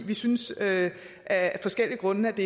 vi synes af forskellige grunde at det